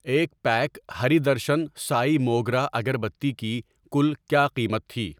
ایک پیک ہری درشن سائی موگرہ اگر بتی کی کل کیا قیمت تھی؟